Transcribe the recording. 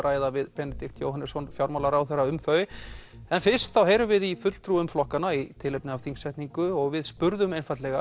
ræða við Benedikt Jóhannesson fjármálaráðherra um þau en fyrst heyrum við í fulltrúum flokkanna í tilefni af þingsetningu og við spurðum